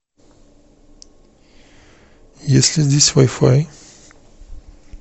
есть ли здесь вай фай